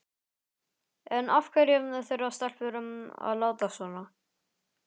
En af hverju þurfa stelpur að láta svona?